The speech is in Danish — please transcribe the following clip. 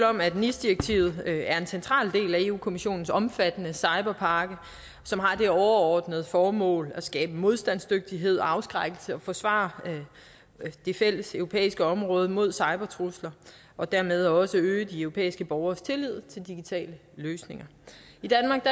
om at nis direktivet er en central del af europa kommissionens omfattende cyberpakke som har det overordnede formål at skabe modstandsdygtighed og afskrækkelse og forsvare det fælleseuropæiske område mod cybertrusler og dermed også øge de europæiske borgeres tillid til digitale løsninger i danmark